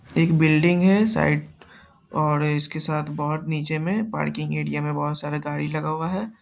एक बिल्डिंग है साइड और इसके साथ बहुत नीचे में पार्किंग एरिया में बहुत सारी गाड़ी लगा हुआ है।